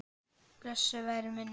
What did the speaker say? Blessuð veri minning hans.